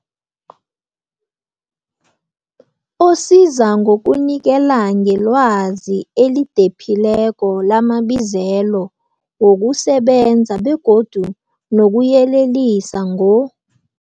osiza ngokunikela ngelwazi elidephileko lamabizelo wokusebenza begodu nokuyelelisa ngo,